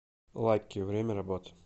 лаки время работы